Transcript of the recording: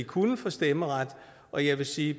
kunne få stemmeret og jeg vil sige